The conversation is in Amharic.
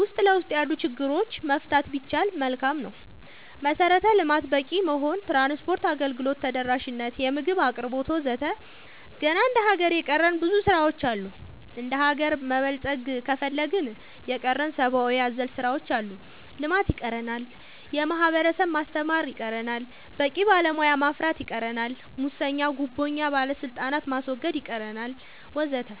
ውስጥ ለውስጥ ያሉ ችግሮች መፍታት ቢቻል መልካም ነው መሰረተ ልማት በቂ መሆን ትራንስፓርት አገልግሎት ተደራሽ ነት የምግብ አቅርቦት ወዘተ ገና እንደ ሀገር የቀረን ብዙ ስራ ዎች አሉ እንደሀገር መበልፀግ ከፈለግን የቀረን ሰባአዊ አዘል ስራዎች አሉ ልማት ይቀረናል የህብረተሰብ ማስተማር ይቀረናል በቂ ባለሙያ ማፍራት ይቀረናል ሙሰኛ ጉቦኛ ባለስልጣናት ማስወገድ ይቀረናል ወዘተ